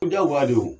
Ko diyagoya de don